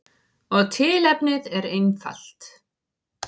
Og tilefnið er einfalt.